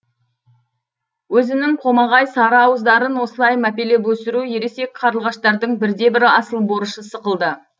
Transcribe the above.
өзінің қомағай сары ауыздарын осылай мәпелеп өсіру ересек қарлығаштардың бірде бір асыл борышы сықылды